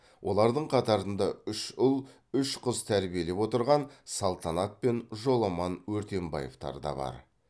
олардың қатарында үш ұл үш қыз тәрбиелеп отырған салтанат пен жоламан өртенбаевтар да бар